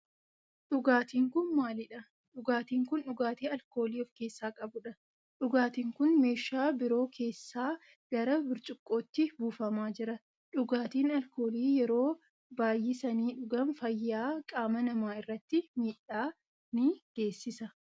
Dhugaatin kun maalidha? Dhugaatin kun dhugaatii alkoolii of keessaa qabudha. Dhugaatin kun meeshaa biroo keessaa gara burcuqqootti buufamaa jira. Dhugaatin alkoolii yeroo baayyisanii dhugaan fayyaa qaama nama irratti miidhaa ni geesisa.